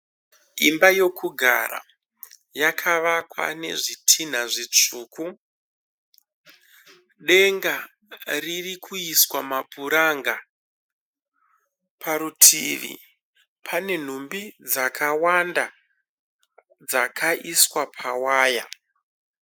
Imba yokugara yakavakwa nezvitinha zvitsvuku, denga ririkuiswa mapuranga. Parutivi panenhumbi dzakawanda dzakaiswa pawaya.